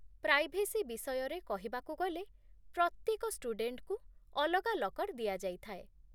privacy ବିଷୟରେ କହିବାକୁ ଗଲେ, ପ୍ରତ୍ୟେକ ଷ୍ଟୁଡେଣ୍ଟଙ୍କୁ ଅଲଗା ଲକର୍ ଦିଆଯାଇଥାଏ